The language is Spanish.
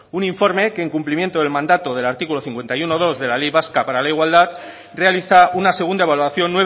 un informe que en cumplimiento del mandato del artículo cincuenta y uno punto dos de la ley vasca para la igualdad realiza una segunda evaluación